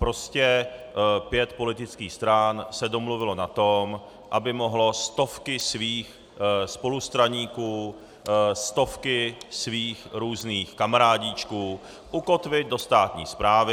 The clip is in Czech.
Prostě pět politických stran se domluvilo na tom, aby mohlo stovky svých spolustraníků, stovky svých různých kamarádíčků ukotvit do státní správy.